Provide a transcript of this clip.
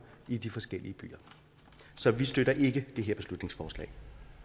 i de forskellige byer så vi støtter ikke det her beslutningsforslag